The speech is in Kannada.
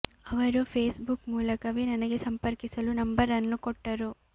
ಅವರು ಫೇಸ್ ಬುಕ್ ಮೂಲಕವೇ ನನಗೆ ಸಂಪರ್ಕಿಸಲು ನಂಬರ್ ಅನ್ನು ಕೊಟ್ಟರು